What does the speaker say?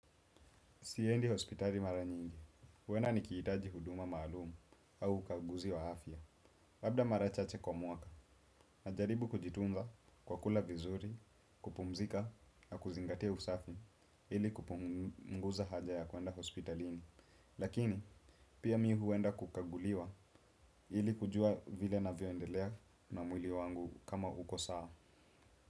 Siendi hospitali mara nyingi, huenda nikihitaji huduma maalumu au ukaguzi wa afya. Labda mara chache kwa mwaka, najaribu kujitunza kwa kula vizuri, kupumzika na kuzingatia usafi ili kupunguza haja ya kwenda hospitalini. Lakini, pia mi huenda kukaguliwa ili kujua vile navyo endelea na mwili wangu kama uko saa.